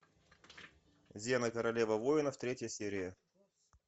зена королева воинов третья серия